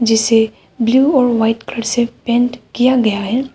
जिसे ब्लू और white colour से पेंट किया गया है।